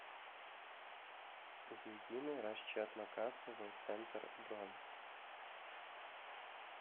единый расчетно кассовый центр бронь